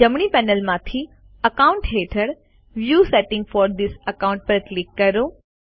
જમણી પેનલમાંથી અકાઉન્ટ્સ હેઠળ view settings for this account પર ક્લિક કરો